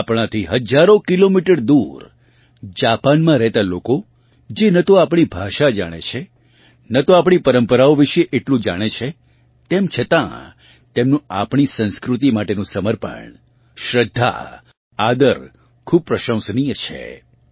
આપણાથી હજારો કિલોમીટર દૂર જાપાનમાં રહેતા લોકો જે ન તો આપણી ભાષા જાણે છે ન તો આપણી પરમ્પરાઓ વિશે એટલું જાણે છે તેમ છતાં તેમનું આપણી સંસ્કૃતિ માટેનું સમર્પણ શ્રદ્ધા આદર ખૂબ પ્રશંસનીય છે